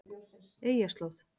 Eyjarslóð